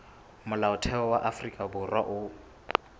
molaotheo wa afrika borwa o